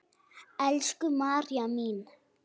Elsku María mín.